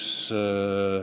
Suur tänu, härra juhataja!